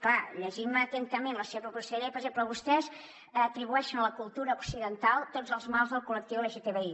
clar llegint me atentament la seva proposta de llei per exemple vostès atribueixen a la cultura occidental tots els mals del col·lectiu lgtbi